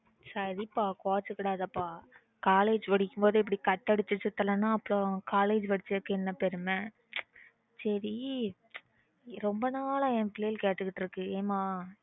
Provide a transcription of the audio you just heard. சரி பா கோச்சிக்காதபா college படிக்குற அப்போ இப்பிடி cut அடிச்சிட்டு சுத்தலைன்னா அப்புறம் college படிச்சதுக்கு என்ன பெருமை சரி ரொம்ப நாலா என் பிள்ளைங்க கேட்டுட்டு இருக்கு ஏன் மா